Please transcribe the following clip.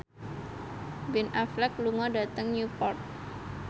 Ben Affleck lunga dhateng Newport